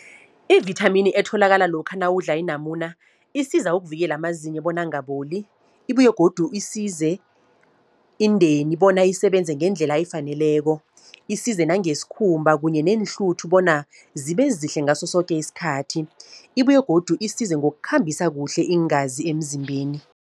I-vithamini etholakala lokha nawudla inamuna, isiza ukuvikela amazinyo bona angaboli. Ibuye godu isize indeni, bona isebenze ngendlela efaneleko. Isize nangesikhumba kunye neenhluthu, bona zibe zihle ngasosoke isikhathi. Ibuye godu isize ngokukhambisa kuhle iingazi emzimbeni.